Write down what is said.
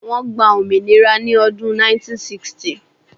Wọ́n gba òmìnira ni ọdún 1960